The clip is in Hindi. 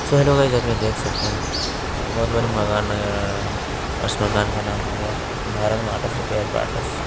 सो हेलो गाइज आप यहां देख सकते है बहोत बड़ी मकान नजर आ रहा है और इस मकान का नाम हो गया भारत माटस रिपेयर पाटस ।